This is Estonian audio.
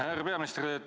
Härra peaminister!